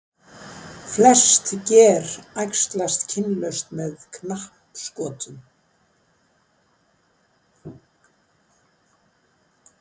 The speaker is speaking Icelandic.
flest ger æxlast kynlaust með knappskotum